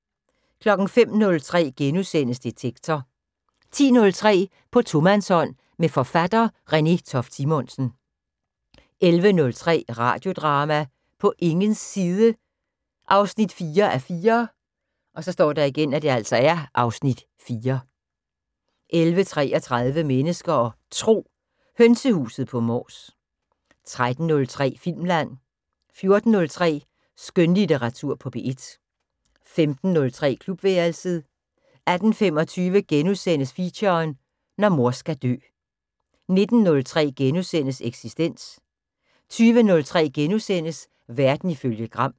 05:03: Detektor * 10:03: På tomandshånd med forfatter Renée Toft Simonsen 11:03: Radiodrama: På ingens side 4:4 (Afs. 4) 11:33: Mennesker og Tro: Hønsehuset på Mors 13:03: Filmland 14:03: Skønlitteratur på P1 15:03: Klubværelset 18:25: Feature: Når mor skal dø * 19:03: Eksistens * 20:03: Verden ifølge Gram *